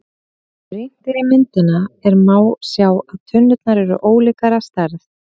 Ef rýnt er í myndina er má sjá að tunnurnar eru ólíkar að stærð.